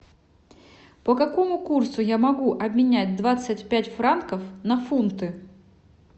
по какому курсу я могу обменять двадцать пять франков на фунты